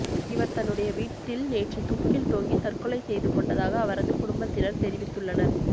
இவர் தன்னுடைய வீட்டில் நேற்று தூக்கில் தொங்கி தற்கொலை செய்து கொண்டதாக அவரது குடும்பத்தினர் தெரிவித்துள்ளனர்